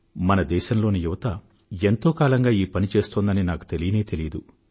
మన దేశంలోని యువత ఎంతో కాలంగా ఈ పనిని చేస్తోందని నాకు తెలియనే తెలియదు